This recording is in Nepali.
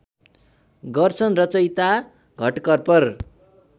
गर्छन् रचयिता घटकर्पर